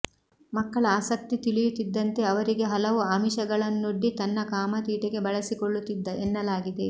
ಮಕ್ಕಳ ಆಸಕ್ತಿ ತಿಳಿಯುತ್ತಿದ್ದಂತೆ ಅವರಿಗೆ ಹಲವು ಆಮಿಷಗಳನ್ನೊಡ್ಡಿ ತನ್ನ ಕಾಮ ತೀಟೆಗೆ ಬಳಸಿಕೊಳ್ಳುತ್ತಿದ್ದ ಎನ್ನಲಾಗಿದೆ